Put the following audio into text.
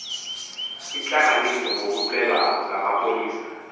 intlanganiso ngokucelwa ngamapolisa